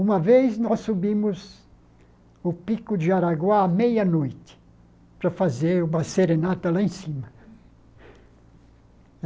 Uma vez, nós subimos o Pico de Araguá à meia-noite, para fazer uma serenata lá em cima.